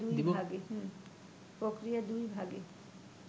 প্রক্রিয়া দুই ভাগে